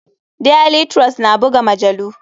Daily trust na buga majalu.